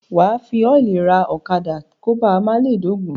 Wà á fi ọ́ìlì ra àdá kó ba à má le dógùn-ún.